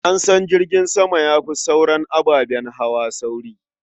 An san jirgin sama ya fi sauran ababen hawa sauri.